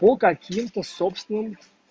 по каким-то собственным